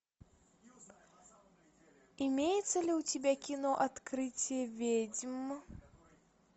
имеется ли у тебя кино открытие ведьм